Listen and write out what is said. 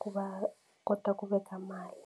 ku va kota ku veka mali.